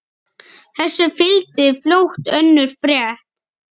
Þessu fylgdi fljótt önnur frétt: